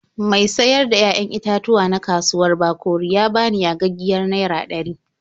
Mai sayar da 'ya'yan itatuwa na kauwar Bakori ya bani yagaggiyar naira ɗari.